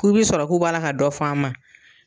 K'u bi sɔrɔ k'o b'a la ka dɔ f'a ma